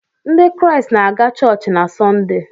Ndị Kraịst na-aga chọọchị na Sọnde.